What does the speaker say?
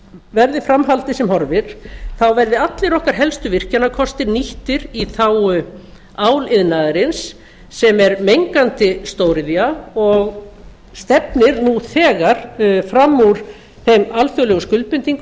verði fram haldið sem horfir þá verði allir okkar helstu virkjanakostir nýttir í þágu áliðnaðarins sem er mengandi stóriðja og stefnir nú þegar fram úr þeim alþjóðlegu skuldbindingum